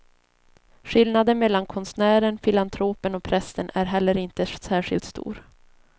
Skillnaden mellan konstnären, filantropen och prästen är heller inte särskilt stor.